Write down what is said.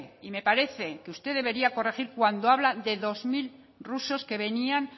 y me parece que usted debería corregir cuando habla de dos mil rusos que venían